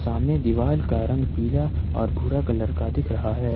सामने दीवार का रंग पीला और भूरा कलर का दिख रहा है।